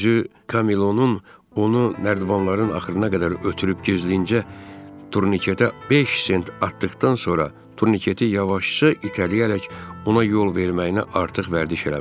Düzü Kamilo'nun onu nərdivanların axırına qədər ötürüb gizlincə turniketə beş sent atdıqdan sonra turniketi yavaşca itələyərək ona yol verməyinə artıq vərdiş eləmişdi.